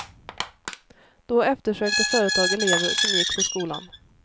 Då eftersökte företag elever som gick på skolan.